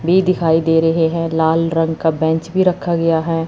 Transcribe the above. वे दिखाई दे रहे हैं लाल रंग का बेंच भी रखा गया है।